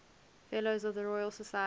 fellows of the royal society